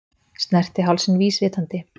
Snerti hálsinn vísvitandi.